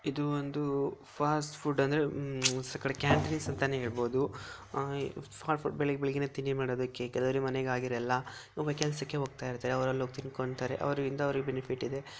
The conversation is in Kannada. ಇದು ಒಂದು ಫಾಸ್ಟ್ ಫುಡ್ಡು ಅಂದ್ರೆ ಒಂದ್ ಕಡೆ ಕ್ಯಾಂಟೀನ್ಸ್ ಅಂತ ಕೂಡ ಹೇಳಬಹುದು ಫಾಸ್ಟ್ ಫುಡ್ ಬೆಳ್ ಬೆಳಗ್ಗೆನೆ ತಿಂಡಿ ಮಾಡಲಿಕ್ಕೆ ಕೆಲವರು ಮನೆಯಲ್ಲಿ ಆಗಿರಲ್ಲ ಕೆಲಸಕ್ಕೆ ಹೋಗ್ತಿರ್ತಾರೆ ಅವರೆಲ್ಲ ಹೋಗಿ ತಿನ್ಕೊಂತಾರೆ ಅವರಿಂದ ಅವರಿಗೆ ಬೆನಿಫಿಟ್ ಇದೆ.